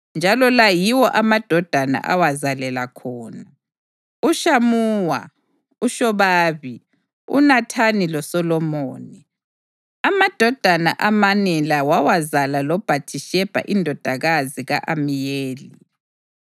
njalo la yiwo amadodana awazalela khona: uShamuwa, uShobabi, uNathani loSolomoni. Amadodana amane la wawazala loBhathishebha indodakazi ka-Amiyeli.